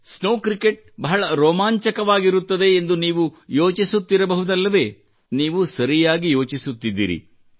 snow cricket ಬಹಳ ರೋಮಾಂಚನವಾಗಿರುತ್ತದೆ ಎಂದು ನೀವು ಯೋಚಿಸುತ್ತಿರಬಹುದಲ್ಲವೇ ನೀವು ಸರಿಯಾಗಿ ಯೋಚಿಸುತ್ತಿದ್ದೀರಿ